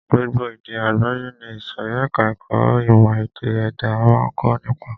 Gbogbo èdè àgbáyé ni ìsòrí ẹka ẹ̀kọ́ ìmọ̀ ẹ̀dá-èdè máa ń kọ́ nípa.